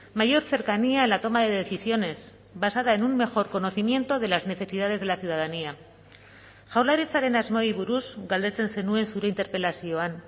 mayor cercanía en la toma de decisiones basada en un mejor conocimiento de las necesidades de la ciudadanía jaurlaritzaren asmoei buruz galdetzen zenuen zure interpelazioan